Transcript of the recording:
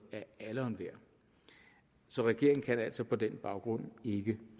af alle og enhver så regeringen kan altså på den baggrund ikke